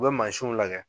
U bɛ mansinw lajɛ